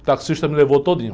O taxista me levou todinho.